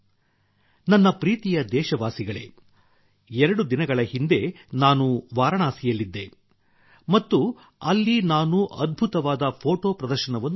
ನನ್ನ ಪ್ರೀತಿಯ ದೇಶವಾಸಿಗಳೇ ಎರಡು ದಿನಗಳ ಹಿಂದೆ ನಾನು ವಾರಣಾಸಿಯಲ್ಲಿದ್ದೆ ಮತ್ತು ಅಲ್ಲಿ ನಾನು ಅದ್ಭುತವಾದ ಫೋಟೋ ಪ್ರದರ್ಶನವನ್ನು ನೋಡಿದೆ